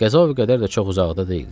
Qəza və qədər də çox uzaqda deyildi.